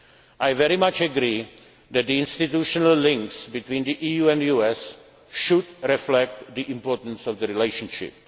relationship. I very much agree that the institutional links between the EU and US should reflect the importance of